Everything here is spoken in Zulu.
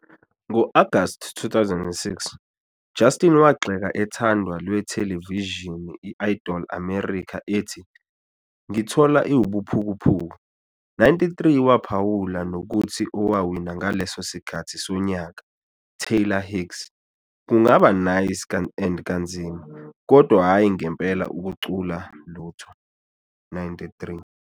Ngo-August 2006, Justin wagxeka ethandwa lwethelevishini Idol American ethi "Ngikuthola iwubuphukuphuku".93 Waphawula nokuthi owawina ngaleso sikhathi sonyaka, Taylor Hicks, "kungaba nice and kanzima, kodwa hhayi ngempela ukucula lutho".93